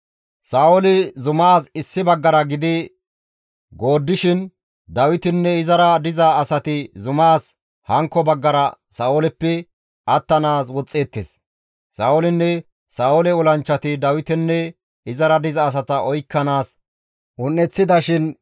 Sa7ooli zumaas issi baggara gidi gooddishin Dawitinne izara diza asati zumaas hankko baggara Sa7ooleppe attanaas woxxeettes. Sa7oolinne Sa7oole olanchchati Dawitenne izara diza asata oykkanaas un7eththidashin,